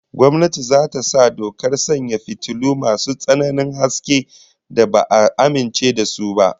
Gwamnati za ta sa dokar sanya fitilu masu tsananin haske da ba'a amince da su ba